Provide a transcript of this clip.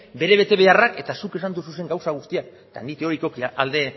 bere betebeharrak eta zuk esan dozuzen gauza guztiak eta nik teorikoki alde